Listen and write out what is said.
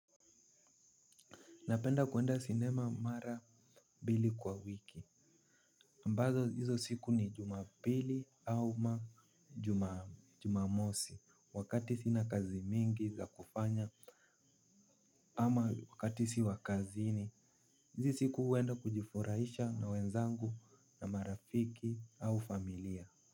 Napenda kwenda sinema mara mbili kwa wiki ambazo hizo siku ni jumapili au majumamosi. Wakati sina kazi mingi za kufanya ama wakati si wakazini. Hizo siku huenda kujifurahisha na wenzangu na marafiki au familia.